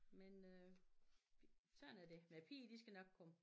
Men øh sådan er det men piger de skal nok komme